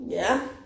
Ja